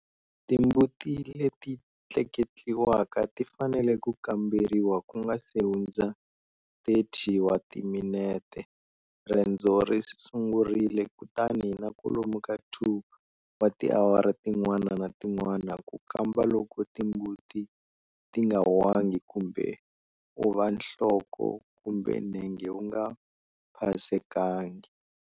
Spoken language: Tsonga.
Timbuti leti tleketliwaka ti fanele ku kamberiwa ku nga si hundza 30 wa timinete rendzo ri sungurile kutani na kwalomu ka 2 wa tiawara tin'wana na tin'wana ku kamba loko timbuti ti nga wangi kumbe u va nhloko kumbe nenge wu nga phasekangi.